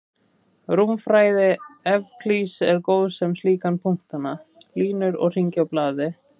Rúmfræði Evklíðs er góð sem líkan fyrir punkta, línur og hringi á blaði.